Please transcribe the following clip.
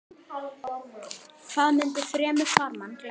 Hvað mundi fremur farmann gleðja?